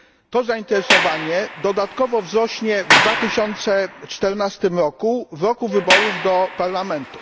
To zainteresowanie dodatkowo wzrośnie w 2014 roku roku wyborów do Parlamentu.